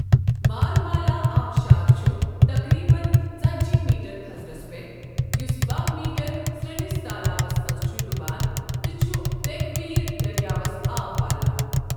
مارمالا آبشار چھُ تقریباً ژتجی میٹر تھزرَس پٮ۪ٹھ، یُس باہ میٹر سرٛنِس تالابَس منٛز چھُ ڈُبان تہٕ چھُ تیکوئ دٔریاوَس آب والان۔